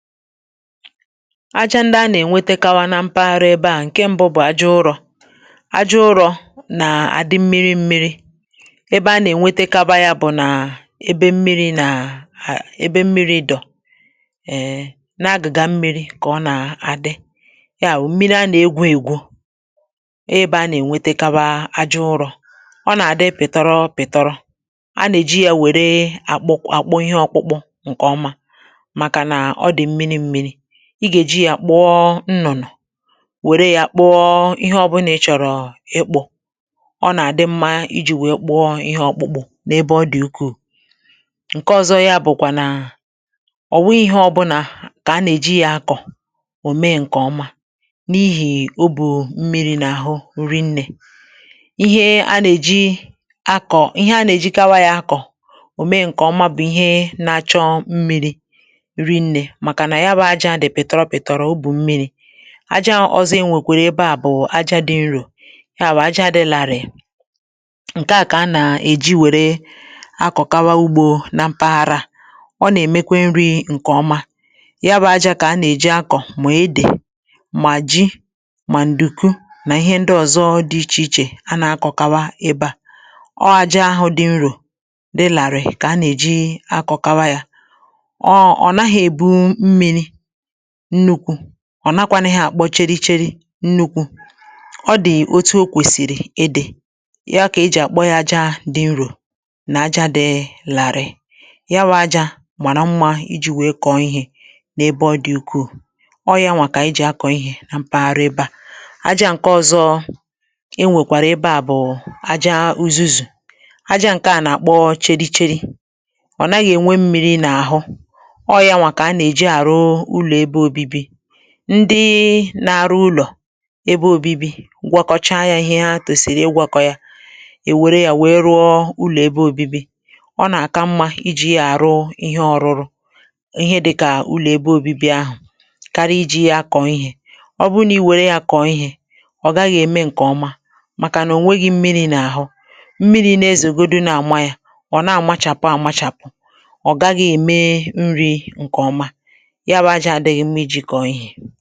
aja ndị a nà-ènwetakawa na mpaghara ebe à ṅ̀ke mbụ̄ bụ̀ aja ụrọ̄, aja ụrọ̄ nà-àdị mmiri m̄mīrī ebe a nà-ènwetakaba yā bụ̀ nà ebe mmiri nà- hà ebe mmir̄i dọ̀ na agị̀gà mmīrī kà ọ nà-àdị ya wụ̀ mmiri a nà-egwū ègwu. ebe a nà-ènwetekawa aja ụrō̩,, ọ nà-adị pị̀tọro̩ pị̀tọrọ nà-èji yā wère àkpụ àkpụ ihe ọ̄kpụ̄kpụ̄ ṅ̀kè ọma, màkà nà ọ dị mmiri m̄mīrī, ị gà-èji yā kpụọ̀ nnụnụ̀, wère yā kpụọ ihe ọbụ̄nà ị chọ̀rọ̀ ịkpụ̄ ọ nà-àdị mma ijī wèe kpụọ ihe ọ̄kpụ̄kpụ̄ n’ ebe ọ dị̀ ukwuù. Ǹke ọzọ yā bụkwà nà ọ̀ wụ̀ghị̄ ihe ọbụ̄nà kà a nà- èji yā akọ̀ ò mee ṅ̀kè ọma n’ihì o bù mmirī n’àhụ rinne.̄ ihe a nà-èji akọ̀ ihe a nà-èjikawā ya akọ̀ ò mee ṅ̀kè ọ̀ma bụ̀ ihe nā-āchọ̄ mmīrī rinnē màkà nà yā bụ̄ aja dị̀ pị̀tọrọ pị̀tọrọ, o bù mmirī aja ọ̄zọ̄ e nwèkwèrè ebe à bụ̀ aja dị̄ nrò ya bụ̀ aja dị̄ larị̀ị̀ ṅ̀ke à kà a nà-èji wère akòkawa ugbō na mpaghara. ọ nà-èmekwe nrī ṅ̀kè ọma ya bụ̄ ajā kà a nà-èji akọ̀ mà edè, mà ji, mà ǹdùku nà ihe ndị ozo dị̄ ichè ichè a nà-akọ̀kawa ebe à. Aja ahụ̄ dị̄ nrò, dị làrị̀ị̀ kà a nà-èji akọ̀kawa yā ọ̀ nàhā èbu mmīrī nnukwū ọ nahakwānū àkpọ cheri cheri nnukwū, ọ dị̀ otu o kwẹ̀sìrì ịdị̄ ya kà e jì àkpọ yā aja dị̄ nrò, nà aja dị̄ làrị̀ị ̀ ya wụ̄ ajā màrà mmā ijī wèe kọ̀ọ ihē n’ebe ọ dị̀ ukwuù oọ̄ yanwà kà àyị jì akọ̀ ihē na mpaghara ebe à. Aja ṅ̀ke ọ̄zọ̄ e nwèkwàrà ebe à bụ̀ aja uzuzù, aja ṅ̀ke à nà-àkpọ cheri cheri, ọ naghị̄ ènwe mmīrī n‘ahụ, ọọ̄ yanwà kà a nà-èji àrụ ụlọ̀ ebe obibi ndịị na-arụ ụlọ̀ ebe ōbībī gwọkọchaa yā ihe ha tòsìrì ịgwọ̄kọ̄ yā, è wère yā wèe rụọ ụlò̩ ebe ōbībī, ọ nà-aka mmā iji yā àrụ ihe ọrụr̄ụ̄ ihe dịkà ụlọ̀ ebe ōbībī ahụ̀ karị ijī yā akọ̀ ihē. ọ bụrụ nà i wère yā kọ̀ọ ihē ọ gaghị̄ ème ṅ̀kè ọma màkà nà o nweghī mmirī n’ahụ̀ mmirī na-ezògodu na-àma yā ọ nà-àmachàpụ àmachàpụ̀, ọ gaghị̄ ème nrī ṅ̀kè ọ̀ma ya wụ̄ ajā adīghị̄ mma ijī kọ̀ọ ihē.